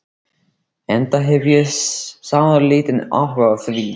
Enda hef ég sáralítinn áhuga á því.